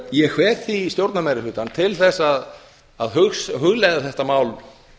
ég hvet stjórnarmeirihlutann því til að hugleiða þetta mál